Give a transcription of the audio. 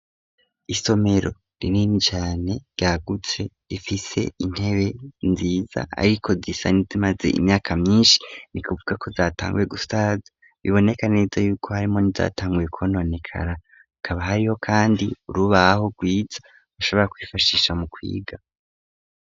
Isomero rinini cane ryagutse ifise intebe nziza, ariko zisanize imaze imyaka myinshi ni kuvuga ko zatanguye gusaza biboneka neza yuko harimo nizatanguye kwononekara ukaba hariho, kandi urubaho rwiza ushabora kwifashisha mu kwiga.